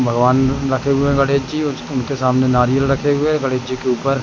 भगवान रखे हुए गणेश जी ज उनके सामने नारियल रखे हुए गणेश जी के ऊपर--